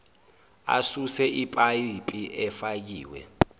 asuse ipayipi efakiwe